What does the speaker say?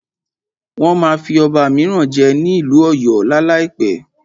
Wọ́n máa fí ọba míràn jẹ ní ìlú ọ̀yọ́ lá láìpẹ́.